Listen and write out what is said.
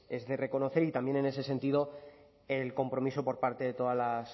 es de reconocer y también en ese sentido el compromiso por parte de todas las